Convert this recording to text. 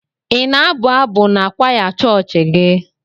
Ị na-abụ abụ n'kwaya chọọchị gị?